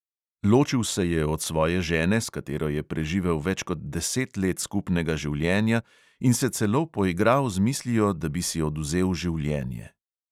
Ločil se je od svoje žene, s katero je preživel več kot deset let skupnega življenja, in se celo poigral z mislijo, da bi si odvzel življenje.